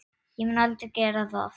Ég mun aldrei gera það.